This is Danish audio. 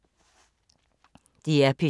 DR P2